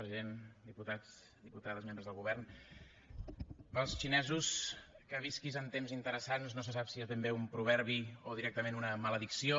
president diputats diputades membres del govern per als xinesos que visquis en temps interessants no se sap si és ben bé un proverbi o directament una maledicció